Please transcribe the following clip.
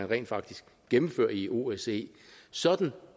rent faktisk gennemføres i osce sådan